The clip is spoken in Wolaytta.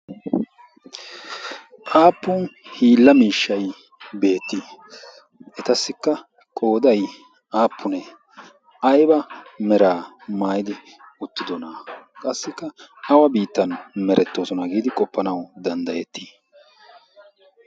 aappun hiilla miishshai beetti etassikka qoodai aappunee ayba meraa maaidi uttidona? qassikka awa biittan merettoosona. giidi qoppanawu danddayettii?